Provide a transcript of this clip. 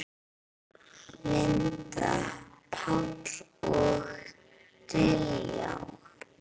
Linda, Páll og Diljá.